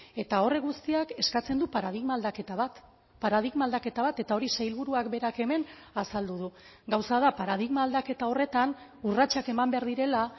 eta horrek guztiak eskatzen du paradigma aldaketa bat paradigma aldaketa bat eta hori sailburuak berak hemen azaldu du gauza da paradigma aldaketa horretan urratsak eman behar direla